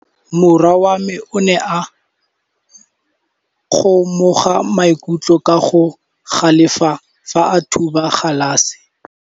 Morwa wa me o ne a kgomoga maikutlo ka go galefa fa a thuba galase.